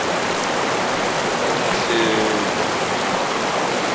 emalahleni